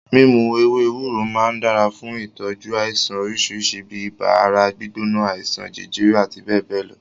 Mímu ewé ewúro máa ń dára fún ìtọ́jú àìsàn oríṣi bíi ibà, ara gbígbóná, àìsàn jẹjẹrẹ àti bẹ́ẹ̀bẹ́ẹ̀ lọ.